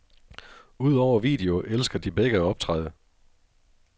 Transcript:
Udover video elsker de begge at optræde.